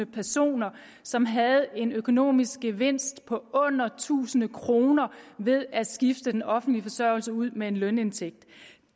personer som havde en økonomisk gevinst på under tusind kroner ved at skifte den offentlige forsørgelse ud med en lønindtægt